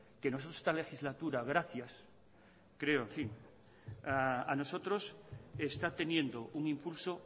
que nosotros en esta legislatura gracias a nosotros está teniendo un impulso